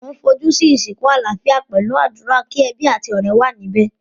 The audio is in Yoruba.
Mo n fojú si ìsìnkú alálafíà pẹ̀lu àdúrà, ki ebí àti ọ̀rẹ́ wa níbẹ̀.